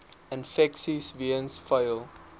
infeksies weens vuil